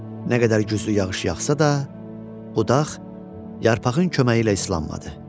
Nə qədər güclü yağış yağsa da, budaq yarpağın köməyi ilə islanmadı.